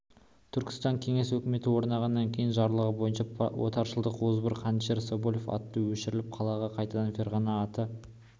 түркістанда кеңес өкіметі орнағаннан кейін жарлығы бойынша отаршылдықтың озбыр қанішері скоблев аты өшіріліп қалаға қайтадан ферғана аты